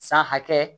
San hakɛ